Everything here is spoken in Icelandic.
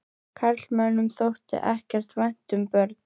Karlmönnum þótti ekkert vænt um börn.